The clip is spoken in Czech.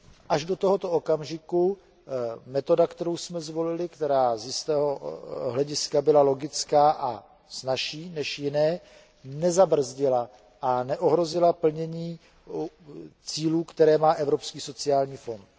Až do tohoto okamžiku metoda, kterou jsme zvolili a která byla z jistého hlediska logická a snazší než jiné, nezabrzdila a neohrozila plnění cílů, které má Evropský sociální fond.